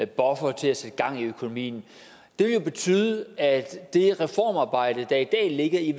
buffer til at sætte gang i økonomien det vil betyde at det reformarbejde der i dag ligger i